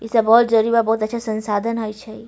ई सब बहुत जरिबा बहुत अच्छा संसाधन होइ छई।